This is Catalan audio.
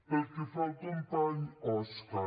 pel que fa al company òscar